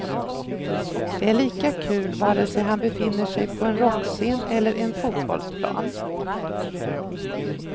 Det är lika kul vare sig han befinner sig på en rockscen eller en fotbollsplan.